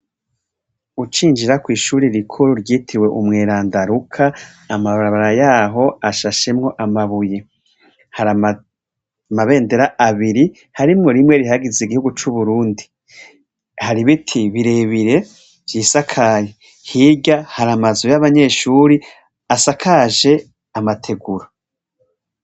Ucinjira kw'ishuri rikuru ryitiwe umwerandaruka amababara yaho ashashemwo amabuye hari amabendera abiri harimwo rimwe rihagize igihugu c'uburundi hari biti birebire vyisakayi hirya hari amazuy'abanyeshuri asakare aje amateguro.